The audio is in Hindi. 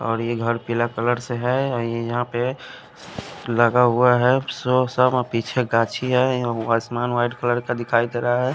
और ये घर पीला कलर से है औ ये यहां पे लगा हुआ है पीछे गाछी है अ उ आसमान व्हाइट कलर का दिखाई दे रहा है।